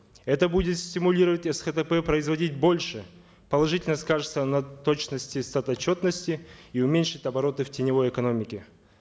это будет стимулировать схп производить больше положительно скажется на точности статотчетности и уменьшит обороты в теневой экономике